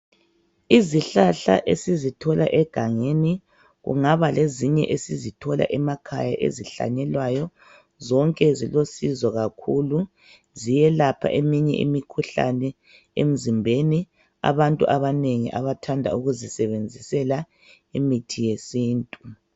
Izihlahla esizithola egangeni kungaba lezinye esizithola emakhaya ezihlanyelwayo zonke zilosizo kakhulu. Ziyelapha eminye imikhuhlane emzimbeni abantu abanengi abathanda ukuzisebenzisela imithi yesintu.